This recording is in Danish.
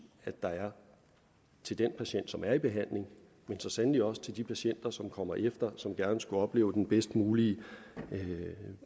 der er til den patient som er i behandling men så sandelig også til de patienter som kommer efter og som gerne skulle opleve den bedst mulige